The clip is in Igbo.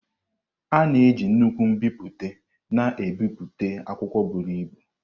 A na-eji nnukwu mbipute na-ebipụta akwụkwọ buru ibu.